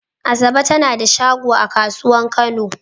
Asabe ta na da shago a kasuwan kano.